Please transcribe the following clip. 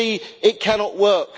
We see it cannot work.